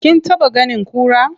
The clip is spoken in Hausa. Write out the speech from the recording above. Kin taɓa ganin kura?